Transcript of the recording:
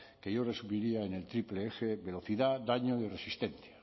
que yo resumiría en el triple eje velocidad daño y resistencia